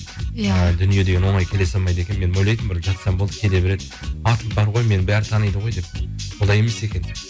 иә дүние деген оңай келе салмайды екен мен ойлайтынмын бір жатсам болды келе береді атым бар ғой менің бәрі таниды ғой деп олай емес екен